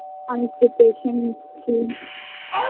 আমি preparation নিচ্ছি